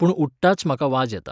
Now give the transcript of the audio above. पूण उठटांच म्हाका वाज येता.